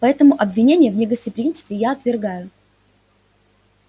поэтому обвинения в негостеприимстве я отвергаю